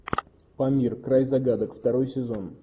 памир край загадок второй сезон